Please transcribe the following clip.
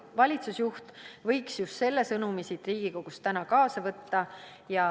Valitsusjuht võiks just selle sõnumi siit Riigikogust täna kaasa võtta.